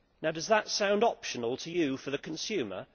Does that sound optional to you for the consumer?